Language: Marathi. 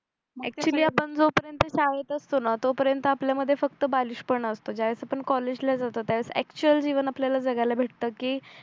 नाहीतर हि जोपर्यंत शाळेत असतो ना तोपर्यंत आपल्या मध्ये फक्त बालिश पणा असतं ज्यावेळीस आपण कॉलेजला जात त्यावेळेस एक्चुअल जीवन आपल्याला जगायला भेटतं की